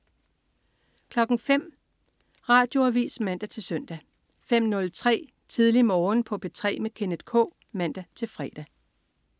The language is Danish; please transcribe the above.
05.00 Radioavis (man-søn) 05.03 Tidlig Morgen på P3 med Kenneth K (man-fre)